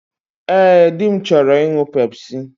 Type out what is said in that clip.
Ee, dị m chọrọ ịṅụ Pepsi.